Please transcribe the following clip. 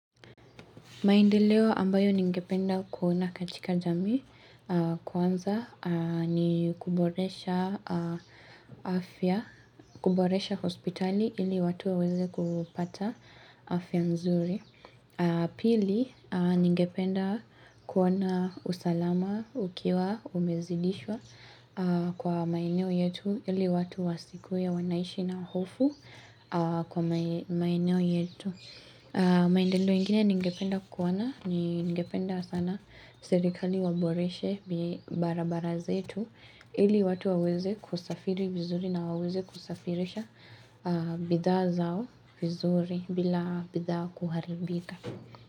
Maendeleo ambayo ningependa kuona katika jamii kwanza ni kuboresha afya, kuboresha hospitali ili watu waweze kupata afya mzuri. Pili ningependa kuona usalama, ukiwa, umezidishwa kwa maeneo yetu ili watu wasikuwe, wanaishi na hofu kwa maeneo yetu. Maendendo ingine ningependa kuona ni ningependa sana serikali waboreshe barabara zetu ili watu waweze kusafiri vizuri na waweze kusafirisha bidha zao vizuri bila bidha kuharibika.